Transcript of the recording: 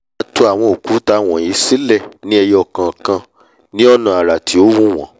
wọ́n á to àwọn òkúta wọ̀nyí sílẹ̀ ní ẹyo kọ̀ọ̀kan ní ọ̀nà àrà tí ó wù wọ́n